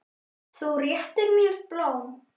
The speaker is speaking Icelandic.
Þú réttir mér blóm.